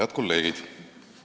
Head kolleegid!